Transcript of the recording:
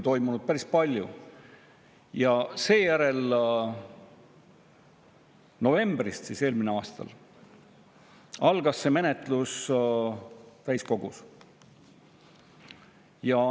Novembris eelmisel aastal algas menetlus täiskogus.